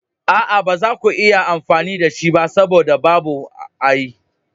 A'a, ba za ku iya amfani da shi ba saboda babu alli.